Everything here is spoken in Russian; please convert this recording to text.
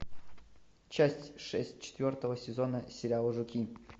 часть шесть четвертого сезона сериала жуки